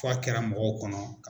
Fo a kɛra mɔgɔw kɔnɔ.